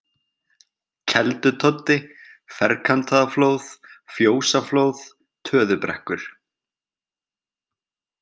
Keldutoddi, Ferkantaðaflóð, Fjósaflóð, Töðubrekkur